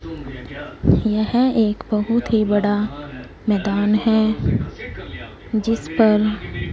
यह एक बहोत ही बड़ा मैदान है जिस पर--